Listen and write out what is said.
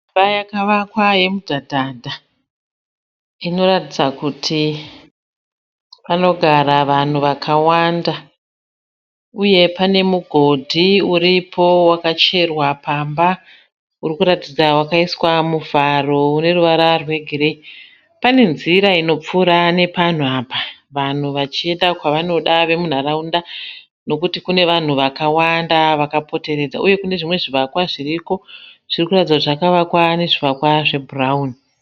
Imba yakavakwa yemudhadhadha. Inoratidza kuti panogara vanhu vakawanda. Uye panemugodhi uripo wakaiswa pamba.